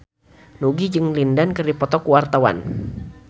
Nugie jeung Lin Dan keur dipoto ku wartawan